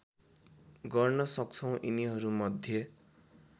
गर्न सक्छौँ यिनीहरूमध्ये